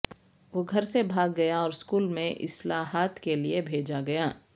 وہ گھر سے بھاگ گیا اور اسکول میں اصلاحات کے لئے بھیجا گیا